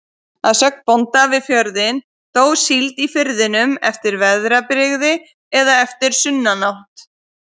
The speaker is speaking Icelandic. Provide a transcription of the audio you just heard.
Að sögn bónda við fjörðinn, dó síld í firðinum eftir veðrabrigði eða eftir sunnanátt.